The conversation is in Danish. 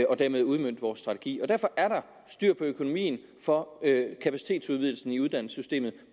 og dermed udmønte vores strategi derfor er der styr på økonomien for kapacitetsudvidelsen i uddannelsessystemet